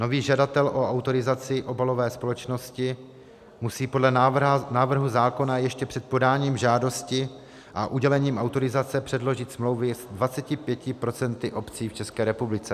Nový žadatel o autorizaci obalové společnosti musí podle návrhu zákona ještě před podáním žádosti a udělením autorizace předložit smlouvy s 25 % obcí v České republice.